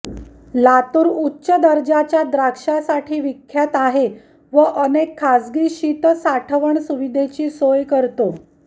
लातुर उच्च दर्जाच्या द्राक्षासाठी विख्यात आहे व अनेक खासगी शित साठवण सुविधेची सोय करतो